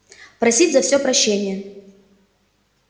просить за всё прощения